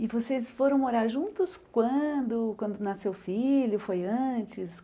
E vocês foram morar juntos quando quando nasceu o filho, foi antes?